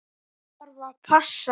Ég þarf að passa.